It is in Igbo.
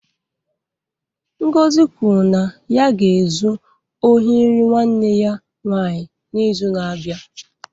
Ngozi kwuru na ya ga-ezu ohi nri nwanne ya nwaanyị n'izu na-abịa.